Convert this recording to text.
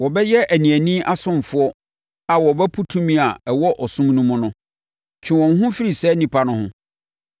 Wɔbɛyɛ aniani asomfoɔ a wɔbɛpo tumi a ɛwɔ ɔsom no mu no. Twe wo ho firi saa nnipa no ho.